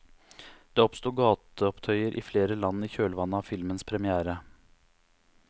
Det oppstod gateopptøyer i flere land i kjølvannet av filmens premiere.